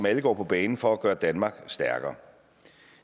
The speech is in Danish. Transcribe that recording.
alle går på banen for at gøre danmark stærkere